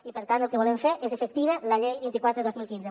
i per tant el que volem fer és fer efectiva la llei vint quatre dos mil quinze